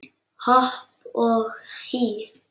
Hopp og hí